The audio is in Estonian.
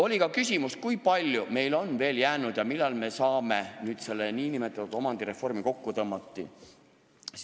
Oli ka küsimus, kui palju on neid asju veel jäänud ja millal me saame selle nn omandireformi kokku tõmmata.